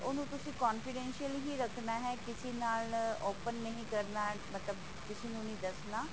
ਤੇ ਉਹਨੂੰ ਤੁਸੀ confidentially ਹੀ ਰੱਖਣਾ ਹੈ ਕਿਸੀ ਨਾਲ open ਨਹੀਂ ਕਰਨਾ ਮਤਲਬ ਕਿਸੀ ਨੂੰ ਨਹੀਂ ਦੱਸਣਾ